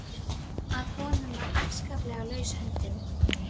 Bernskujól mín líða mér aldrei úr minni.